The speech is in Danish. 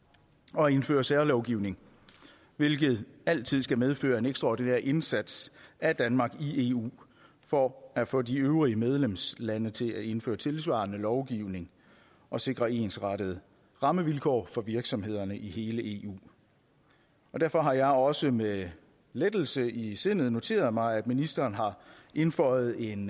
og indføre særlovgivning hvilket altid skal medføre en ekstraordinær indsats af danmark i eu for at få de øvrige medlemslande til at indføre tilsvarende lovgivning og sikre ensrettede rammevilkår for virksomhederne i hele eu derfor har jeg også med lettelse i sindet noteret mig at ministeren har indføjet en